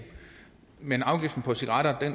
men afgiften på cigaretter